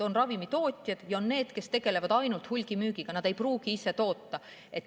On ravimitootjad ja on need, kes tegelevad ainult hulgimüügiga, nad ei pruugi ise toota.